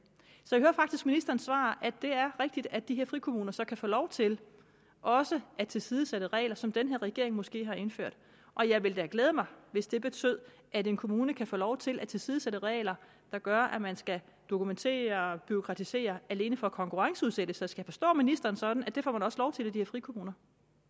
så jeg hører faktisk ministerens svar at det er rigtigt at de her frikommuner så kan få lov til også at tilsidesætte regler som den her regering måske har indført og jeg ville da glæde mig hvis det betød at en kommune kan få lov til at tilsidesætte regler der gør at man skal dokumentere og bureaukratisere alene for at konkurrenceudsætte så skal jeg forstå ministeren sådan at det får man også lov til i de her frikommuner